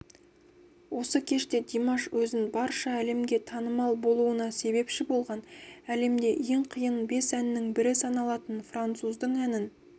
осы кеште димаш өзін барша әлемге танымал болуына себепші болған әлемде ең қиын бес әннің бірі саналатын француздың әнін